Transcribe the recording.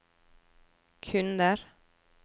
kunder